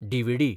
DVD